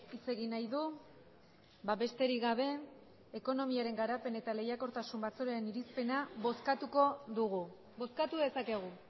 hitz egin nahi du besterik gabe ekonomiaren garapen eta lehiakortasun batzordearen irizpena bozkatuko dugu bozkatu dezakegu